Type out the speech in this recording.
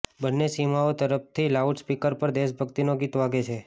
બંને સીમાઓ તરફથી લાઉડ સ્પીકર પર દેશભક્તિના ગીતો વાગે છે